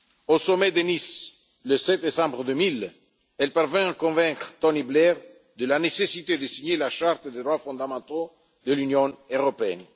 Au sommet de Nice, le 7 décembre 2000, elle parvint à convaincre Tony Blair de la nécessité de signer la charte des droits fondamentaux de l'Union européenne.